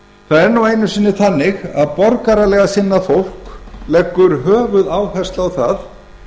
það er nú einu sinni þannig að borgaralega sinnað fólk leggur höfuðáherslu á það